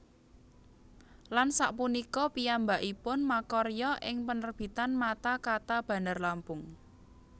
Lan sak punika piyambakipun makarya ing penerbitan Mata Kata Bandarlampung